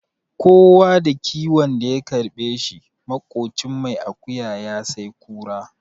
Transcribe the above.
Kowa da kiwon da ya karɓe shi, maƙocin mai akuya ya sai kura.